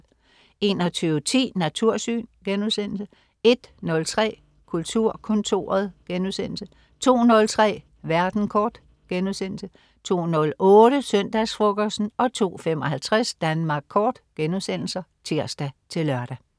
21.10 Natursyn* 01.03 Kulturkontoret* 02.03 Verden kort* 02.08 Søndagsfrokosten* 02.55 Danmark Kort* (tirs-lør)